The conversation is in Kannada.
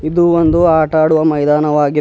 ಇದು ಒಂದು ಆಟ ಆಡುವ ಮೈದಾನವಾಗಿ--